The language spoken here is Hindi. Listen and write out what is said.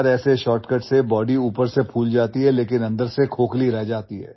यार ऐसे शॉर्टकट से बॉडी ऊपर से फूल जाती है लेकिन अंदर से खोखली रह जाती है